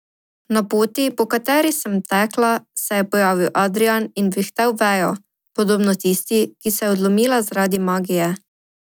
Na poti, po kateri sem tekla, se je pojavil Adrijan in vihtel vejo, podobno tisti, ki se je odlomila zaradi magije.